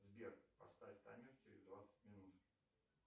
сбер поставь таймер через двадцать минут